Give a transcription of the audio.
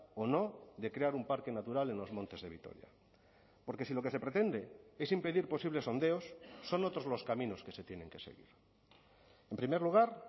o no de crear un parque natural en los montes de vitoria porque si lo que se pretende es impedir posibles sondeos son otros los caminos que se tienen que seguir en primer lugar